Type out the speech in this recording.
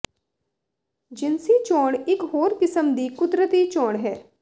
ਜਿਨਸੀ ਚੋਣ ਇਕ ਹੋਰ ਕਿਸਮ ਦੀ ਕੁਦਰਤੀ ਚੋਣ ਹੈ